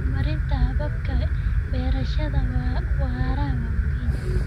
Horumarinta hababka beerashada waara waa muhiim.